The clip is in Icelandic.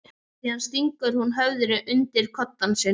Síðan stingur hún höfðinu undir koddann sinn.